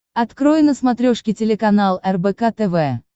открой на смотрешке телеканал рбк тв